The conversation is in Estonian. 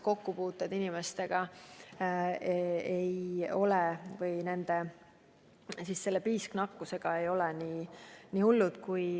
Kokkupuuteid teiste inimestega ei ole või vähemalt piisknakkuse oht ei ole nii hull.